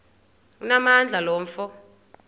onamandla lo mfo